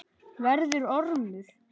Verður ormur.